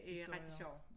Historie